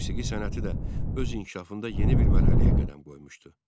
Musiqi sənəti də öz inkişafında yeni bir mərhələyə qədəm qoymuşdu.